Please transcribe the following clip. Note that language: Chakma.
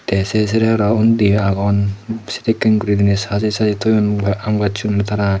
te se sere arow undiyo agon sedekken guri diney sajey sajey toyon aam gacchun tara.